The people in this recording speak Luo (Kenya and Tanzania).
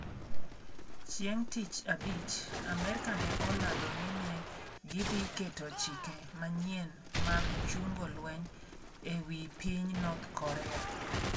Chieng ' Tich Abich, Amerka ne olando ni ne gidhi keto chike manyien mag chungo lweny e wi piny North Korea.